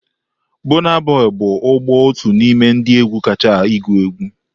Burna Boy's bụ ugbu otu n'ime ndị egwu kachasị igu egwu.